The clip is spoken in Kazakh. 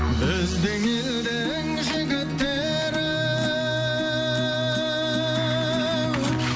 біздің елдің жігіттері еу